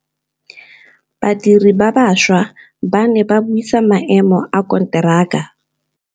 Badiri ba baša ba ne ba buisa maêmô a konteraka.